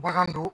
Bagan don